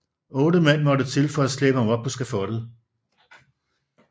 Otte mand måtte til for at slæbe ham op på skafottet